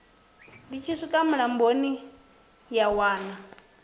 tshi swika mulamboni ya wana